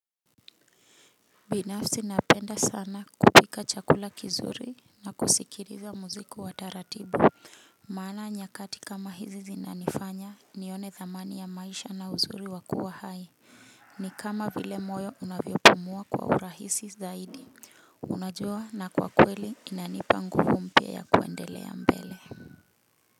Binafsi napenda sana kupika chakula kizuri na kusikiriza muzik iwa taratibu. Maana nyakati kama hizi zinanifanya nione dhamani ya maisha na uzuri wakua hai. Ni kama vile moyo unavyo pumua kwa urahisi zaidi. Unajua na kwa kweli inanipa nguvu mpia ya kuendelea mbele.